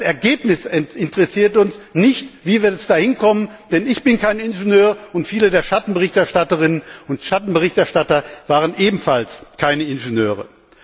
Das Ergebnis interessiert uns, nicht wie wir da hinkommen, denn ich bin kein Ingenieur und viele der Schattenberichterstatterinnen und Schattenberichterstatter sind ebenfalls keine Ingenieure.